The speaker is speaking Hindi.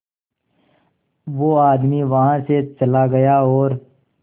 वो आदमी वहां से चला गया और